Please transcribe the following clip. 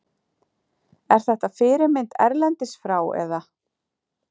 Er þetta fyrirmynd erlendis frá eða?